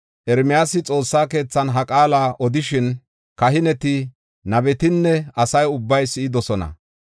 Ermiyaasi Xoossa keethan ha qaala odishin, kahineti, nabetinne asa ubbay si7idosona.